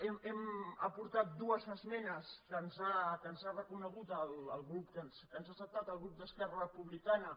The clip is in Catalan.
hi hem aportat dues esmenes que ens ha reconegut que ens ha acceptat el grup d’esquerra republicana